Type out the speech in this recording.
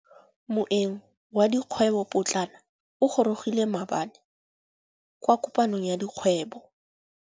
Moêng wa dikgwêbô pôtlana o gorogile maabane kwa kopanong ya dikgwêbô.